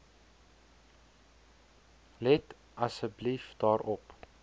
let asseblief daarop